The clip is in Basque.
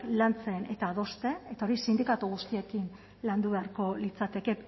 lantzen eta adosten eta hori sindikatu guztiekin landu beharko litzateke